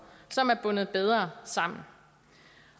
som er bundet bedre sammen